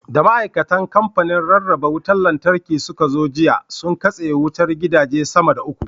Da ma'aikatan kamfanin rarraba wutar Lantarki suka zo jiya, sun katse wutar gidaje sama da uku.